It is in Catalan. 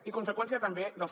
i conseqüència també dels